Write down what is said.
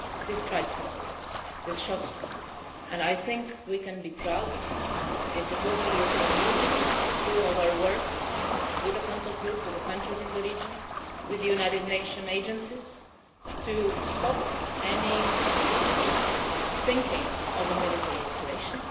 This strikes me this shocks me and I think we can be proud if it was the European Union, through our work, with a contact group, with the countries in the region, with the United Nation agencies, to stop any thinking of a military escalation